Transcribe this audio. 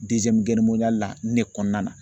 la nin ne kɔnɔna na